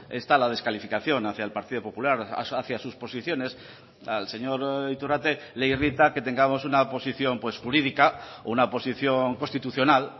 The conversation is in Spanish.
está la descalificación hacía el partido popular hacía sus posiciones al señor iturrate le irrita que tengamos una posición jurídica una posición constitucional